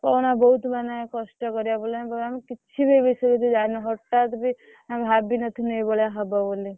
କହନା ବହୁତ ମାନେ କଷ୍ଟ କରିବାକୁ ପଡିଲାଣି କିଛି ବି ଏଇ ବିଷୟରେ ତୁ ଜାଣିନୁ ହଟାତ ବି ଆମେ ଭାବିନଥିଲୁ ଏଇଭଳିଆ ହବ ବୋଲି।